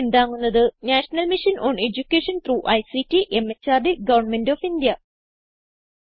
ഇതിനെ പിന്താങ്ങുന്നത് national mission on education through ICT മെഹർദ് ഗവന്മെന്റ് ഓഫ് ഇന്ത്യ